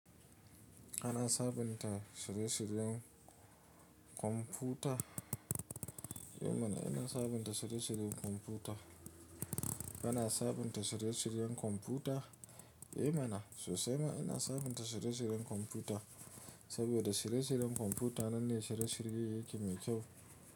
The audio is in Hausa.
Kana sabunta shirye-shiryen kwamfuta? Eh mana ina sabunta shirye-shiyen kwamfuta. Kana sabunta shirye-shiyen kwamfuta? Eh mana sosai ma ina sabunta shirye-shiyen kwamfuta, saboda shirye-shiyen kwamfuta nan ne shirye-shiyen yake mai kyau.